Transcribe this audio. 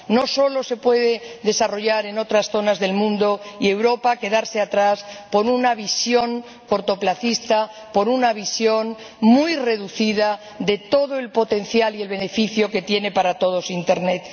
No se puede desarrollar solo en otras zonas del mundo mientras Europa se queda atrás por una visión cortoplacista, por una visión muy reducida de todo el potencial y el beneficio que tiene para todos Internet.